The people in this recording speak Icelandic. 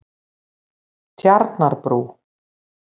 Tjarnarbrú